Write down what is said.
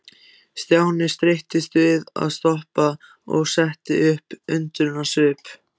Stjáni streittist við að stoppa og setti upp undrunarsvip.